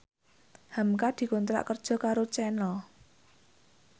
hamka dikontrak kerja karo Channel